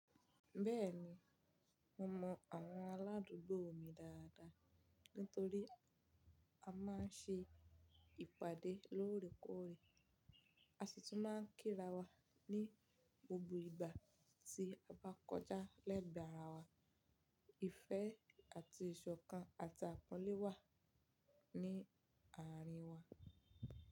Bẹ́ẹ̀ni, mo mọ àwọn aládùúgbò mi dáadáa nítorí a máa ń ṣe ìpàdé lóòrèkóòrè, a sì tún máa ń kíra wa ní gbogbo ìgbà tí a bá kọjá lẹ́gbàára wa. Ìfẹ́ àti ìṣọ̀kan àtàpọlé wa ní àárín wa.